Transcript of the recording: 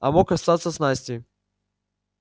а мог остаться с настей